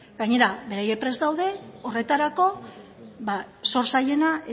gainera beraiek prest daude horretarako ba zor zailena